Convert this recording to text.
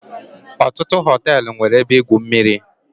Ọtụtụ họtelụ nwere ebe igwu mmiri.